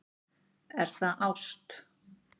Er það ást?